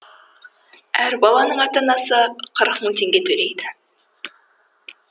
әр баланың ата анасы қырық мың теңге төлейді